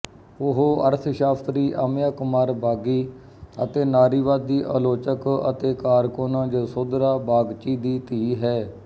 ਉਹ ਅਰਥਸ਼ਾਸਤਰੀ ਅਮਿਯਾ ਕੁਮਾਰ ਬਾਗੀ ਅਤੇ ਨਾਰੀਵਾਦੀ ਆਲੋਚਕ ਅਤੇ ਕਾਰਕੁਨ ਜਸੋਧਰਾ ਬਾਗਚੀ ਦੀ ਧੀ ਹੈ